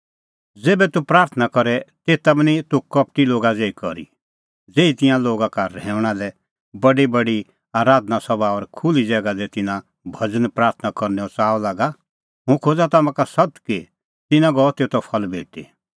ज़ेभै तूह प्राथणां करे तेता बी निं तूह कपटी लोगा ज़ेही करी ज़ेही तिंयां लोगा का रहैऊंणै तैणीं बडीबडी आराधना सभा और खुल्ही ज़ैगा दी तिन्नां भज़न प्राथणां करनैओ च़ाअ लागा हुंह खोज़ा तम्हां का सत्त कि तिन्नां गअ तेतो फल भेटी